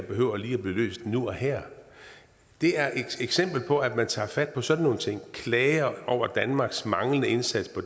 behøver at blive løst nu og her det er et eksempel på at man tager fat på sådan nogle ting og klager over danmarks manglende indsats på